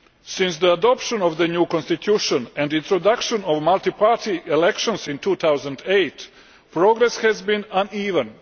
Since the adoption of the new constitution and the introduction of multiparty elections in 2008, progress has been uneven.